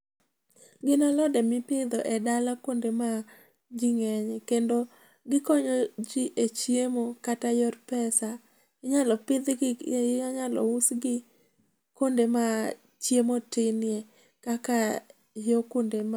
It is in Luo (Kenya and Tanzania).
Gin alode mipidho e dala, kuonde ma jii ng'enye. Kendo gikonyo jii e chiemo kata yor pesa. Inyalo pidhgi, inyalo usgi kuonde ma chiemo tinie kaka yoo kuonde ma...